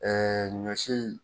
ɲɔ si.